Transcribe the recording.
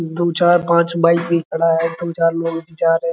दु चार पांच बाइक भी खड़ा है दु चार लोग भी जा रहें।